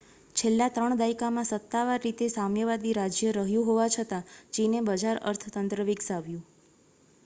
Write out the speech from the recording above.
છેલ્લા ત્રણ દાયકામાં સત્તાવાર રીતે સામ્યવાદી રાજ્ય રહ્યું હોવા છતાં ચીને બજાર અર્થતંત્ર વિકસાવ્યું